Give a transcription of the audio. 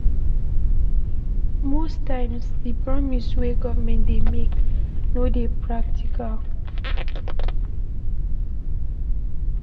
Most times di promise wey government dey make no dey practical